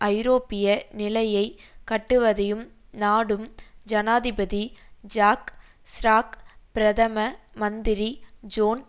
ஐரோப்பிய நிலையை கட்டுவதையும் நாடும் ஜனாதிபதி ஜாக் சிராக் பிரதம மந்திரி ஜோன்